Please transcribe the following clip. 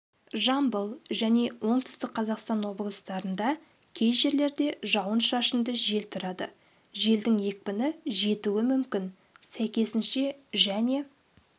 жамбыл және оңтүстік қазақстан облыстарында кей жерлерде жауын-шашынды жел тұрады желдің екпіні жетуі мүмкін сәйкесінше және